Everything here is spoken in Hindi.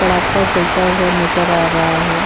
पड़ाका जलता हुआ नजर आ रहा है।